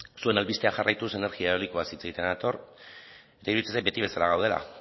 zuen albistea jarraituz energia eolikoaz hitz egitera nator niri iruditzen zait beti bezala gaudela